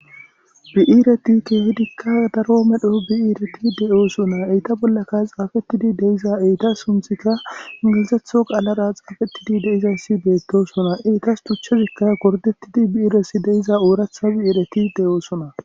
Bi'ireti qassika darro medho bi'ireti deyosona, eta bollaka xafetidi deyiza etta sunithika ingilizatho qalara xafetidi deyidayisi betosona tuchazika goridetidi deyida bi'ireti deyosona